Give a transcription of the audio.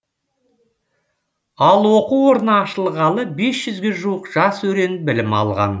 ал оқу орны ашылғалы бес жүзге жуық жас өрен білім алған